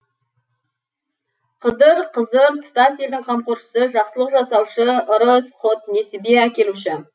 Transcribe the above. қыдыр қызыр тұтас елдің қамқоршысы жақсылық жасаушы ырыс құт несібе әкелуші